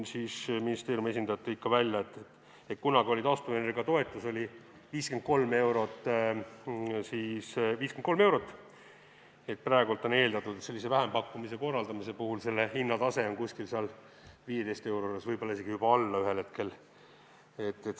Ministeeriumi esindajad tõid välja, et kunagi oli taastuvenergia toetus 53 eurot, praegu on eeldatud, et sellise vähempakkumise korraldamise puhul on tase 15 euro juures, võib-olla isegi juba alla selle mingil hetkel.